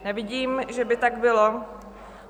Nevidím, že by tak bylo.